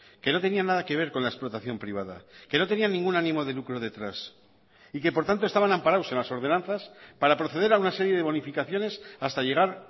que no tenían nada que ver con la explotación privada que no tenían ningún ánimo de lucro detrás y que por tanto estaban amparados en las ordenanzas para proceder a una serie de bonificaciones hasta llegar